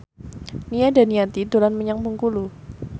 Nia Daniati dolan menyang Bengkulu